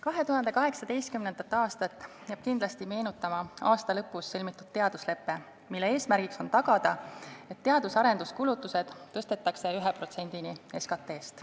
2018. aastat jääb kindlasti meenutama aasta lõpus sõlmitud teaduslepe, mille eesmärk on tagada, et teadus- ja arenduskulutused tõstetakse 1%-ni SKP-st.